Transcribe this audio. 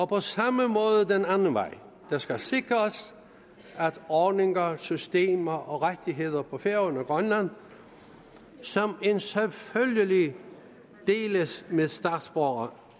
på samme måde den anden vej det skal sikres at ordninger systemer og rettigheder på færøerne og grønland som en selvfølgelighed deles med statsborgere